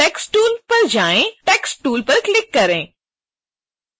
अब toolbox पर जाएँ और text tool पर क्लिक करें